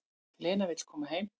Lena vill koma heim.